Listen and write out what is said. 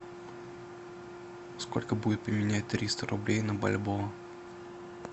сколько будет поменять триста рублей на бальбоа